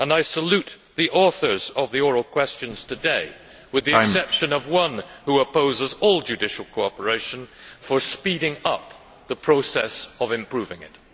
I salute the authors of the oral questions today, with the exception of one who opposes all judicial cooperation, for speeding up the process of improving it.